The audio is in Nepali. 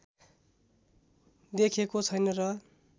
देखिएको छैन र